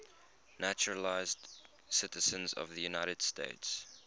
naturalized citizens of the united states